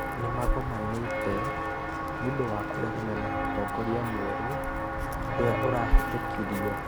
Ni magõmanĩtĩ nĩ ũndũ Wa kũregana Na ũtongoria mwerũ urĩa urahitũkĩrĩõ.